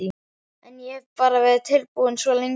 En ég hef bara verið tilbúinn svo lengi.